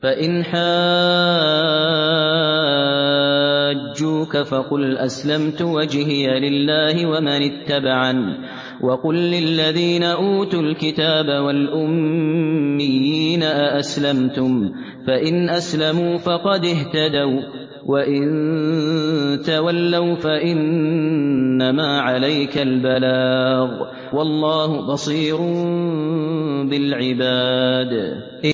فَإِنْ حَاجُّوكَ فَقُلْ أَسْلَمْتُ وَجْهِيَ لِلَّهِ وَمَنِ اتَّبَعَنِ ۗ وَقُل لِّلَّذِينَ أُوتُوا الْكِتَابَ وَالْأُمِّيِّينَ أَأَسْلَمْتُمْ ۚ فَإِنْ أَسْلَمُوا فَقَدِ اهْتَدَوا ۖ وَّإِن تَوَلَّوْا فَإِنَّمَا عَلَيْكَ الْبَلَاغُ ۗ وَاللَّهُ بَصِيرٌ بِالْعِبَادِ